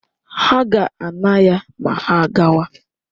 Ha ga-ana ya ma ha gawa.